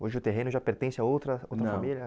Hoje o terreno já pertence a outra outra família? Não